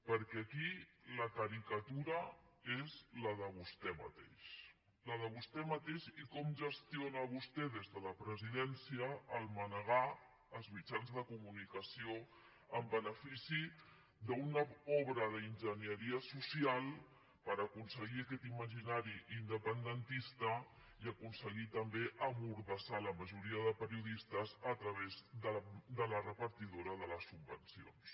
perquè aquí la caricatura és la de vostè mateix la de vostè mateix i com gestiona vostè des de la presidència el mane·gar els mitjans de comunicació en benefici d’una obra d’enginyeria social per aconseguir aquest imaginari independentista i aconseguir també emmordassar la majoria de periodistes a través de la repartidora de les subvencions